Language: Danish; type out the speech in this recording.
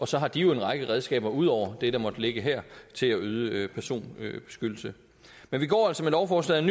så har de en række redskaber ud over det der måtte ligge her til at yde personbeskyttelse men vi går altså med lovforslaget